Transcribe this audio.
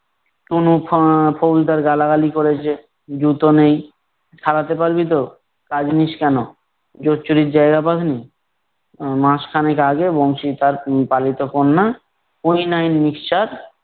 কোন ফা~ খরিদ্দার গালাগালি করেছে জুতো নেই, সারাতে পারবি তো? কাজ নিস কেন? জোচ্চুরির জায়গা পাস নি, আহ মাসখানেক আগে আহ বংশী তার পালিত কন্যা, Quinine mixture